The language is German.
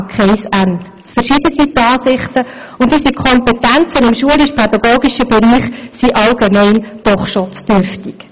Zu unterschiedlich sind die Ansichten, und unsere Kompetenzen im schulischpädagogischen Bereich sind im Allgemeinen doch schon zu dürftig.